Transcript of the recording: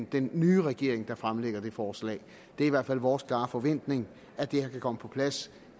den nye regering der fremsætter det forslag det er i hvert fald vores klare forventning at det her kan komme på plads